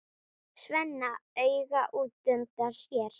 Svenna auga útundan sér.